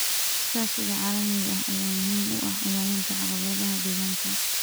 Iskaashiga caalamiga ah ayaa muhiim u ah xallinta caqabadaha deegaanka.